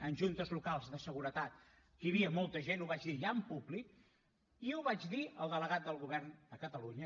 en juntes locals de seguretat que hi havia molta gent ho vaig dir ja en públic i ho vaig dir al delegat del govern a catalunya